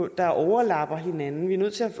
der overlapper hinanden vi er nødt til